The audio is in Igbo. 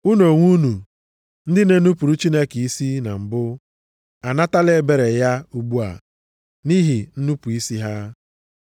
Unu onwe unu ndị na-enupuru Chineke isi na mbụ, anatala ebere ya ugbu a, nʼihi nnupu isi ha.